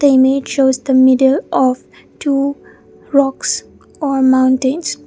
image shows the middle of two rocks or mountains.